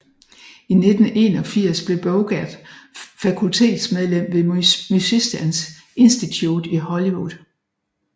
I 1981 blev Bogert fakultetsmedlem ved Musicians Institute i Hollywood